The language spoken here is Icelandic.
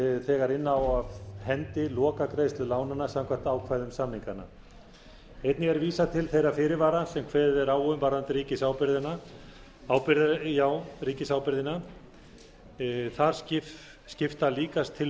þegar inna á af hendi lokagreiðslu lánanna samkvæmt ákvæðum samninganna einnig er vísað til þeirra fyrirvara sem kveðið er á um varðandi ríkisábyrgðina þar skipta líkast til